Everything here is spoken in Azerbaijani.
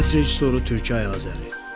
Səs rejissoru Türkəy Azəri.